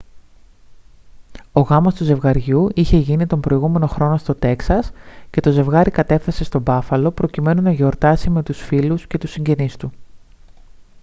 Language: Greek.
ο γάμος του ζευγαριού είχε γίνει τον προηγούμενο χρόνο στο τέξας και το ζευγάρι κατέφθασε στο μπάφαλο προκειμένου να γιορτάσει με τους φίλους και τους συγγενείς του